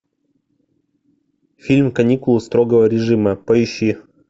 фильм каникулы строгого режима поищи